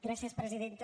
gràcies presidenta